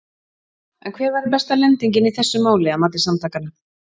En hver væri besta lendingin í þessu máli að mati samtakanna?